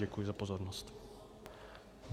Děkuji za pozornost.